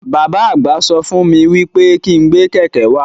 Bàbá àgbà sọ fún wí pé kí n gbé kẹ̀kẹ́ wá.